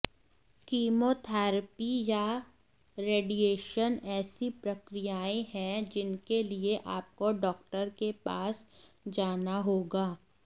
chemotherapy या radiation ऐसी प्रक्रियाएं हैं जिनके लिए आपको डॉक्टर के पास जाना होगा